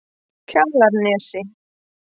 Kjalarnesi